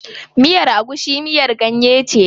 Miyar agushi miyar ganye ce.